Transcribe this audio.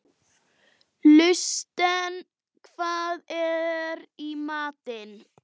Hallsteinn, hvað er í matinn?